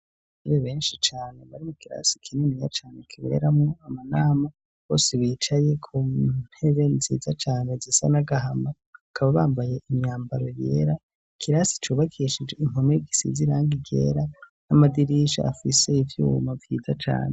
Abanyeshure benshi cane, bari mu kirasi kinini ya cane kiberamwo amanama, bose bicaye ku ntebe nziza cane zisa n'agahama, bakaba bambaye imyambaro yera, ikirasi cubakishijwe impome gisize irangi ryera, n'amadirisha afise ivyuma vyiza cane.